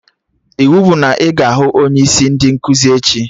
Iwu bụ na ị ga-ahụ onye isi ndị nkụzi echi!